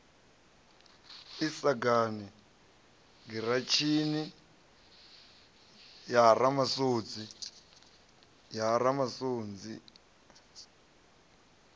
sagani giratshini ya ha ramasunzi